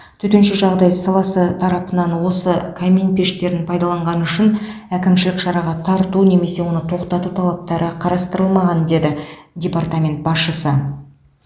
төтенше жағдай саласы тарапынан осы камин пештерін пайдаланғаны үшін әкімшілік шараға тарту немесе оны тоқтату талаптары қарастырылмаған деді департамент басшысы